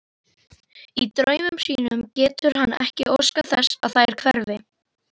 Í draumi sínum getur hann ekki óskað þess þær hverfi.